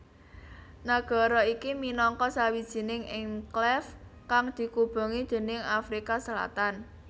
Nagara iki minangka sawijining enklave kang dikubengi déning Afrika Selatan